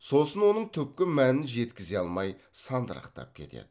сосын оның түпкі мәнін жеткізе алмай сандырақтап кетеді